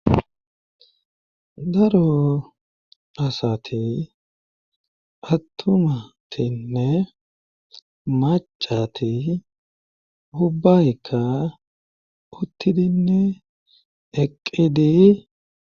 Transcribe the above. Daro asati attumatinne macati hubbaykka uttidinne eqqidi...